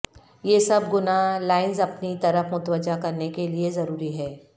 یہ سب گنا لائنز اپنی طرف متوجہ کرنے کے لئے ضروری ہے